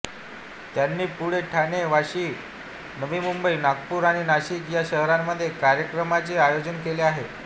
त्यांनी पुणे ठाणे वाशी नवी मुंबई नागपूर आणि नाशिक या शहरांमध्ये कार्यक्रमांचे आयोजन केले आहे